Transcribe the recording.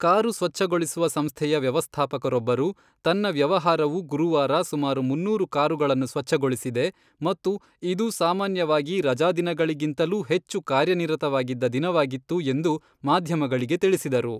Car ಸ್ವಚ್ಛಗೊಳಿಸುವ ಸಂಸ್ಥೆಯ ವ್ಯವಸ್ಥಾಪಕರೊಬ್ಬರು, ತನ್ನ ವ್ಯವಹಾರವು ಗುರುವಾರ ಸುಮಾರು ಮುನ್ನೂರು ಕಾರುಗಳನ್ನು ಸ್ವಚ್ಛಗೊಳಿಸಿದೆ ಮತ್ತು ಇದು ಸಾಮಾನ್ಯವಾಗಿ ರಜಾದಿನಗಳಿಗಿಂತಲೂ ಹೆಚ್ಚು ಕಾರ್ಯನಿರತವಾಗಿದ್ದ ದಿನವಾಗಿತ್ತು ಎಂದು ಮಾಧ್ಯಮಗಳಿಗೆ ತಿಳಿಸಿದರು.